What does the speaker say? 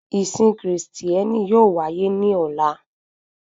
Ìsìn kristiẹni yóò wáyé ní ọ̀la